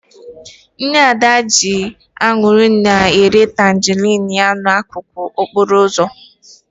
Nne Ada ji ọṅụ na-ere tanjerịn n'akụkụ okporo ụzọ.